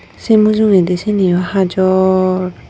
say mujugendi cini oh hajor.